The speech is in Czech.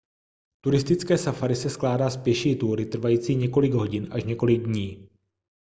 turistické safari se skládá z pěší túry trvající několik hodin až několik dní